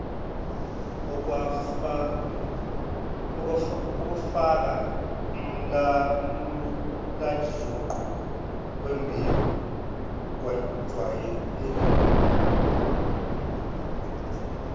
okufakaumlamulajuqu wemibiko kujwayelekile